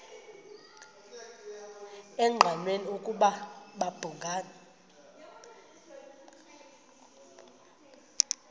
engqanweni ukuba babhungani